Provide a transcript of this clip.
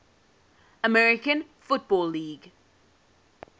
american football league